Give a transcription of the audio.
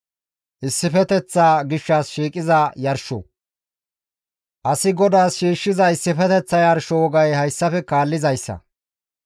« ‹Asi GODAAS shiishshiza issifeteththa yarsho wogay hayssafe kaallizayssa;